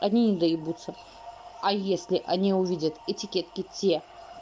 одни не доебуться а если они увидят этикетки те